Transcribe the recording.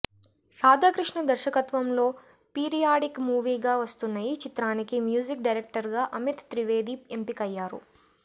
రాధా కృష్ణ దర్శకత్వంలో పీరియాడిక్ మూవీగా వస్తున్న ఈ చిత్రానికి మ్యూజిక్ డైరెక్టర్ గా అమిత్ త్రివేది ఎంపికయ్యారు